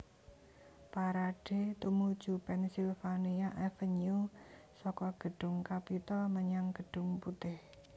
Parade tumuju Pennsylvania Avenue saka gedhung Capitol menyang Gedhung Putih